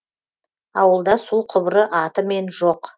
ауылда су құбыры атымен жоқ